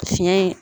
Fiɲɛ in